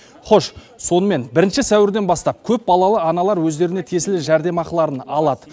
хош сонымен бірінші сәуірден бастап көпбалалы аналар өздеріне тиесілі жәрдемақыларын алады